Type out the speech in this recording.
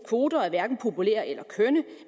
kvoter er hverken populære eller kønne